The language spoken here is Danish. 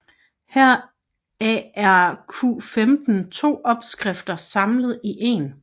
Heraf er Q15 to opskrifter samlet i en